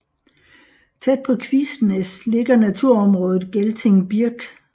Tæt på Kvisnæs ligger naturområdet Gelting Birk